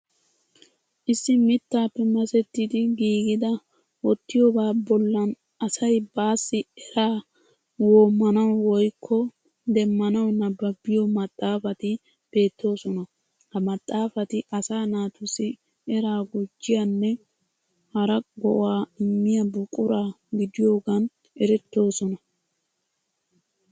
Issi mittaappe masettidi giigida wottiyobaa bollan asay baassi eraa woommanawu woyikko demmanawu nabbabbiyo maxxaafati beettoosona. Ha maxxaafati asaa naatussi eraa gujjiyaanne hara go'aa immiya buqura gidiyogaan erettoosona.